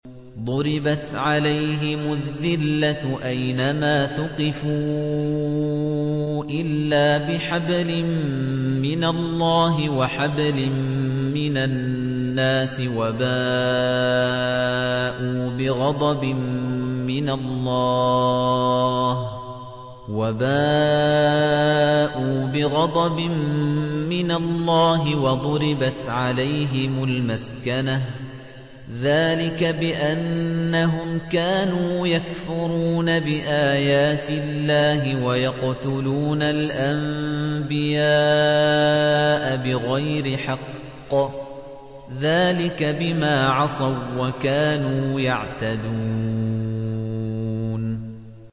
ضُرِبَتْ عَلَيْهِمُ الذِّلَّةُ أَيْنَ مَا ثُقِفُوا إِلَّا بِحَبْلٍ مِّنَ اللَّهِ وَحَبْلٍ مِّنَ النَّاسِ وَبَاءُوا بِغَضَبٍ مِّنَ اللَّهِ وَضُرِبَتْ عَلَيْهِمُ الْمَسْكَنَةُ ۚ ذَٰلِكَ بِأَنَّهُمْ كَانُوا يَكْفُرُونَ بِآيَاتِ اللَّهِ وَيَقْتُلُونَ الْأَنبِيَاءَ بِغَيْرِ حَقٍّ ۚ ذَٰلِكَ بِمَا عَصَوا وَّكَانُوا يَعْتَدُونَ